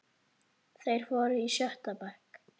Þeir voru í sjötta bekk.